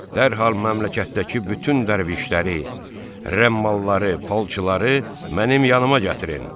Dərhal məmləkətdəki bütün dərvişləri, rəmmalları, falçıları mənim yanıma gətirin.